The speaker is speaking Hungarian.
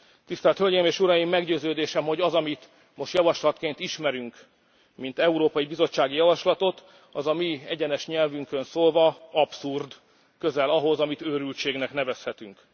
Tisztelt Hölgyeim és Uraim, meggyőződésem, hogy az, amit most javaslatként ismerünk mint európai bizottsági javaslatot, az a mi egyenes nyelvünkön szólva abszurd, közel ahhoz, amit őrültségnek nevezhetünk.